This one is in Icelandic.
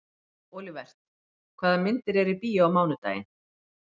Olivert, hvaða myndir eru í bíó á miðvikudaginn?